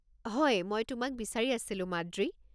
হয়, মই তোমাক বিচাৰি আছিলো, মাদ্ৰী।